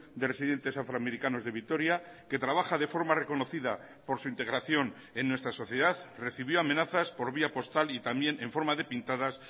de residentes afroamericanos de vitoria que trabaja de forma reconocida por su integración en nuestra sociedad recibió amenazas por vía postal y también en forma de pintadas